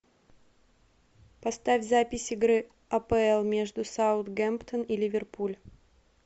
поставь запись игры апл между саутгемптон и ливерпуль